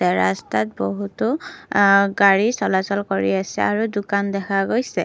ৰাস্তাত বহুতো গাড়ী চলাচল কৰি আছে আৰু দোকান দেখা গৈছে।